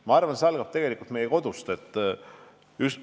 Ma arvan, et see algab kodust.